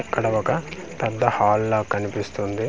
ఇక్కడ ఒక పెద్ద హాల్ లా కనిపిస్తుంది.